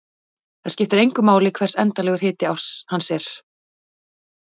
Það skiptir engu máli hver endanlegur hiti hans er.